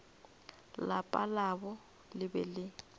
lapa labo le be le